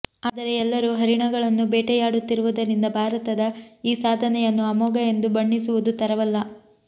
ಆದರೆ ಎಲ್ಲರೂ ಹರಿಣಗಳನ್ನು ಬೇಟೆಯಾಡುತ್ತಿರುವುದರಿಂದ ಭಾರತದ ಈ ಸಾಧನೆಯನ್ನು ಅಮೋಘ ಎಂದು ಬಣ್ಣಿಸುವುದು ತರವಲ್ಲ